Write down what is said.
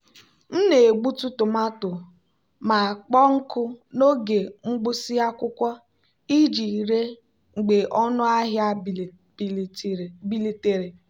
m na-egbutu tomato ma kpọọ nkụ n'oge mgbụsị akwụkwọ iji ree mgbe ọnụ ahịa bilitere.